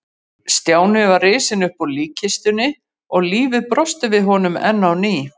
Stjáni var risinn upp úr líkkistunni og lífið brosti við honum enn á ný.